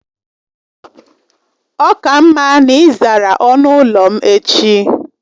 Ọ ka mma na ị zara ọnụ ụlọ m echi!